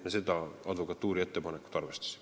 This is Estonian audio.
Me seda advokatuuri ettepanekut arvestasime.